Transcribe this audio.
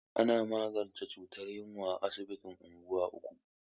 Ana magance cutar yunwa a asibitin unguwa uku.